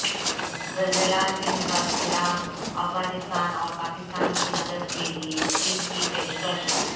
زلزلہ سے متاثرہ افغانستان اور پاکستان کی مدد کے لیے چین کی پیشکش